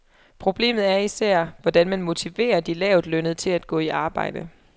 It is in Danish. Problemet er især, hvordan man motiverer de lavtlønnede til at gå i arbejde.